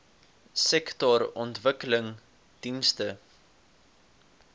sektorontwikkelingdienste